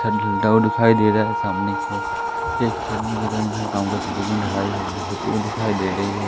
छत ढलता हुआ दिखाई दे रहा है सामने की ओर एक इधर ढलाई होती हुई दिखाई दे रही है।